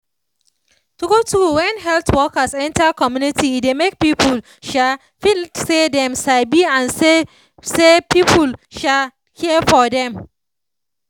true true when health workers enter community e dey make people um feel say dem sabi and say say people um care for dem